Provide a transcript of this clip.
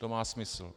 To má smysl.